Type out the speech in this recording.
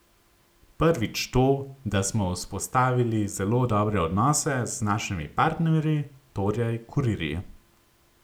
Prvič to, da smo vzpostavili zelo dobre odnose z našimi partnerji, torej kurirji.